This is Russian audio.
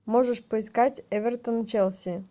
можешь поискать эвертон челси